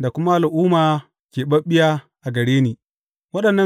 da kuma al’umma keɓaɓɓiya a gare ni.’